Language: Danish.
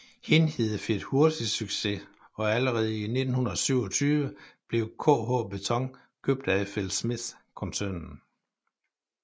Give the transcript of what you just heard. Hindhede fik hurtigt succes og allerede i 1927 blev KH Beton købt af FLSmidth koncernen